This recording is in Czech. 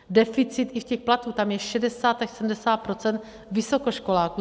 Deficit i v těch platech, tam je 60 až 70 % vysokoškoláků.